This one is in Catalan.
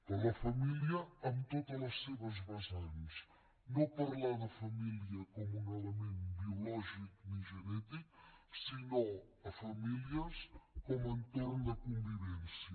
però la família en totes les seves vessants no parlar de família com un element biològic ni genètic sinó famílies com a entorn de convivència